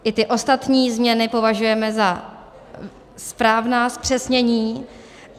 I ty ostatní změny považujeme za správná zpřesnění.